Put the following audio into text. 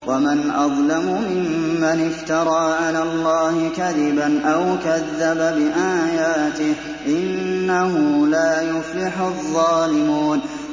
وَمَنْ أَظْلَمُ مِمَّنِ افْتَرَىٰ عَلَى اللَّهِ كَذِبًا أَوْ كَذَّبَ بِآيَاتِهِ ۗ إِنَّهُ لَا يُفْلِحُ الظَّالِمُونَ